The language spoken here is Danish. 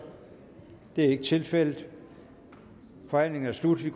det er ikke tilfældet forhandlingen er sluttet